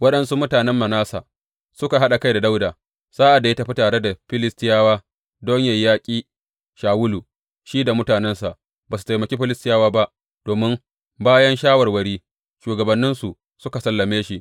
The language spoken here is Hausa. Waɗansu mutanen Manasse suka haɗa kai da Dawuda sa’ad da ya tafi tare da Filistiyawa don yă yaƙi Shawulu Shi da mutanensa ba su taimaki Filistiyawa ba domin bayan shawarwari, shugabanninsu suka salame shi.